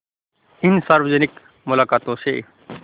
इन सार्वजनिक मुलाक़ातों से